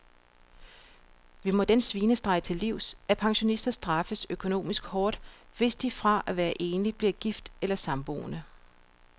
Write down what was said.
Vi må den svinestreg til livs, at pensionister straffes økonomisk hårdt, hvis de fra at være enlig bliver gift eller samboende.